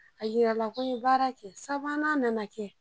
A yirala ko n be baara kɛ. Sabanan nana kɛ.